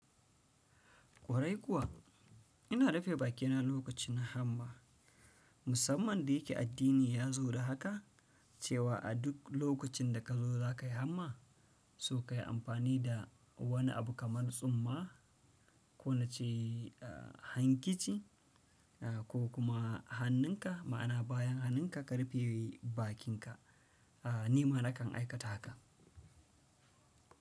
Kwarai kuwa ina dafe bakina lokacin hamma. Musamman da yake addini ya zo da haka cewa a duk lokacin da ka zo za ka yi hamma, so ka yi amfani da wani abu kamar tsumma, ko nace, uh, hankici, uh, ko kuma hannunka, ma'ana bayan hannunka ka rufe bakinka. Ah, nima nakan aikata haka.